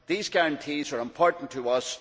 These guarantees are important to us.